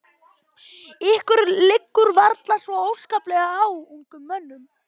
Ykkur liggur varla svo óskaplega á, ungum mönnunum.